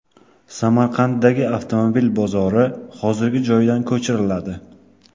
Samarqanddagi avtomobil bozori hozirgi joyidan ko‘chiriladi.